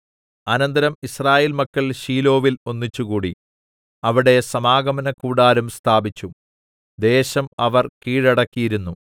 അനന്തരം യിസ്രായേൽ മക്കൾ ശീലോവിൽ ഒന്നിച്ചുകൂടി അവിടെ സമാഗമനകൂടാരം സ്ഥാപിച്ചു ദേശം അവർ കീഴടക്കിയിരുന്നു